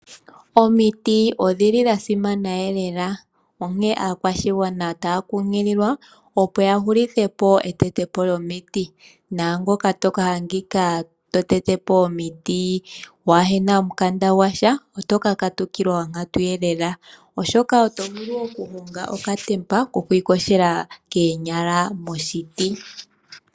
Omiti odhili dha simana lela onkene aakwashigwana otaya kunkililwa opo ya hulithepo etetepo lyomiti naangoka toka adhika totete po omiti kunasha omukanda gwasha oto ka katukilwa onkatu lela oshoka oto vulu oku honga okatemba ko kwiiyogela koonyala moshiti.